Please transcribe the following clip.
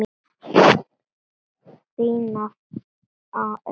Þín nafna, Auður.